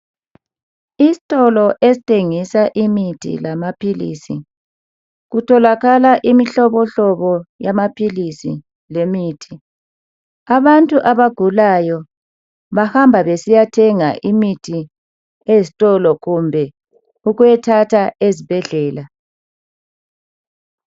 Isitolo esithengisa imithi lama philisi kutholakala imihlobohlobo yama philisi lemithi. Abantu abagulayo bahamba besiyathenga imithi ezitolo kumbe ukuyathatha ezibhedlela.